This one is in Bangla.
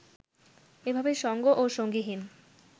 এভাবে সঙ্গ ও সঙ্গীহীন